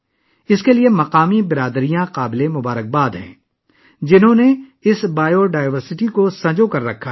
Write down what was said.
اس کے لیے مقامی کمیونٹی مبارکباد کی مستحق ہے، جنہوں نے اس حیاتیاتی تنوع کو محفوظ رکھا ہے